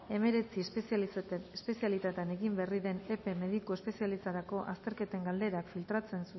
hemeretzi espezialitatetan egin berri den epen mediku espezialistentzako azterketen galderak filtratzen